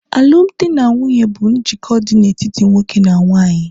alụmdi na nwunye bụ njikọ dị n'etiti nwoke na nwanyị